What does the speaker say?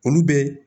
Olu bɛ